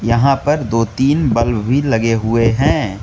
यहां पर दो तीन बल्ब भी लगे हुए हैं।